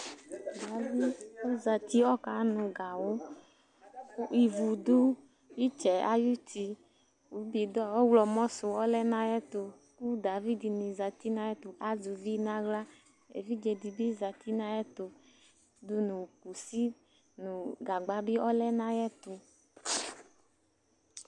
Davi ɔzati, ɔkanʋ gawʋ kʋ ivu dʋ ɩtsɛ yɛ ayuti kʋ bɩdɔ̃ ɔɣlɔmɔ sʋ lɛ nʋ ayɛtʋ Kʋ davi dɩnɩ zati nʋ ayɛtʋ azɛ uvi nʋ aɣla Evidze dɩ bɩ zati nʋ ayɛtʋ dʋ nʋ kusi nʋ gagba bɩ ɔlɛ nʋ ayɛtʋ